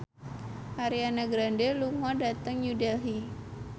Ariana Grande lunga dhateng New Delhi